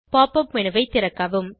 pop up menu ஐ திறக்கவும்